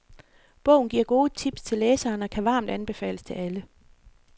Bogen giver gode tips til læseren og kan varmt anbefales til alle.